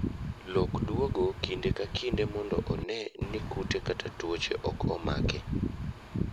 Lok duogo kinde ka kinde mondo one ni kute kata tuoche ok omake.